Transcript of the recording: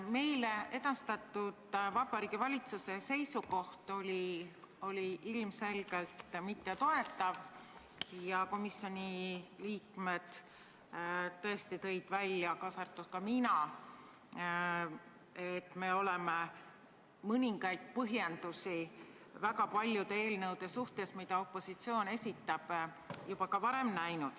Meile edastatud Vabariigi Valitsuse seisukoht oli ilmselgelt mittetoetav ja komisjoni liikmed tõid välja, mina nende seas, et me oleme mõningaid põhjendusi, mis on väga paljude opositsiooni esitatud eelnõude kohta esitatud, juba varem näinud.